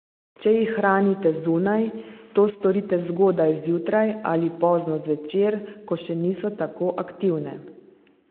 Če jih hranite zunaj, to storite zgodaj zjutraj ali pozno zvečer, ko še niso tako aktivne.